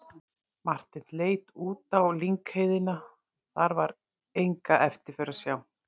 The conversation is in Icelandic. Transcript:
Marteinn leit út á lyngheiðina, þar var enga eftirför að sjá.